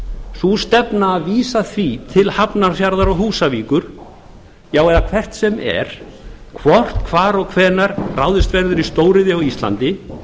sú stefna að vísa því til hafnarfjarðar og húsavíkur eða hvert sem er hvort hvar og hvenær ráðist verður í stóriðju á íslandi